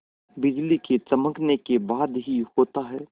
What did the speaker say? बिजली के चमकने के बाद ही होता है